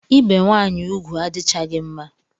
Ibe nwanyị ugwu adichaghi mma